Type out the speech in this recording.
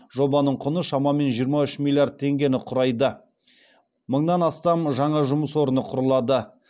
жобаның құны шамамен жиырма үш миллиард теңгені құрайды мыңнан астам жаңа жұмыс орны құрылады